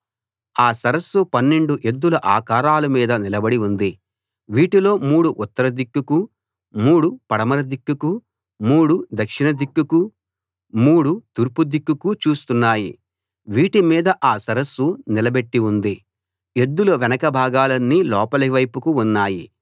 ఆ సరస్సు 12 ఎద్దుల ఆకారాల మీద నిలబడి ఉంది వీటిలో మూడు ఉత్తర దిక్కుకూ మూడు పడమర దిక్కుకూ మూడు దక్షిణ దిక్కుకూ మూడు తూర్పు దిక్కుకూ చూస్తున్నాయి వీటి మీద ఆ సరస్సు నిలబెట్టి ఉంది ఎద్దుల వెనక భాగాలన్నీ లోపలి వైపుకు ఉన్నాయి